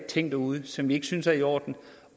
ting derude som vi ikke synes er i orden